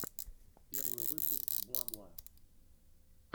первый выпуск бла бла